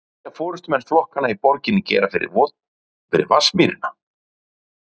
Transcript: En hvað vilja forystumenn flokkanna í borginni gera við Vatnsmýrina?